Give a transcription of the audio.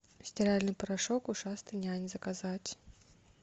стиральный порошок ушастый нянь заказать